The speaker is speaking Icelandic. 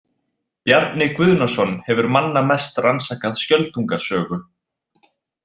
Bjarni Guðnason hefur manna mest rannsakað Skjöldunga sögu.